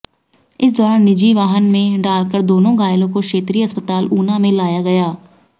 इस दौरान निजी वाहन में डालकर दोनो घायलों को क्षेत्रीय अस्पताल ऊना में लाया गया